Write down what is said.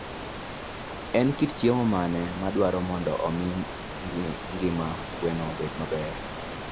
En kit thieth mane madwarore mondo omi ngima gwen obed maber?